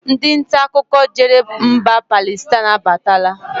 Ndị ntaakụkọ jere mba Palestine abatala